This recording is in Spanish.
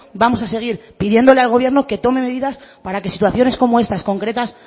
vamos a seguir pidiéndole al gobierno que tome medidas para que situaciones como estas concretas